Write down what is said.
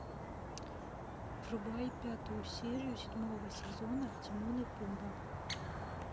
врубай пятую серию седьмого сезона тимон и пумба